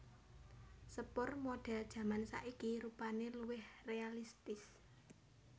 Sepur modèl jaman saiki rupané luwih réalistis